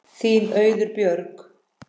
Þín Auður Björg.